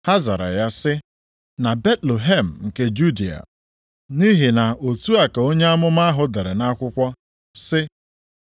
Ha zara ya sị, “Na Betlehem nke Judịa. Nʼihi na otu a ka onye amụma ahụ dere nʼakwụkwọ sị,